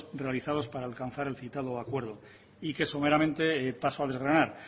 realizados para alcanzar el citado acuerdo y que someramente paso a desgranar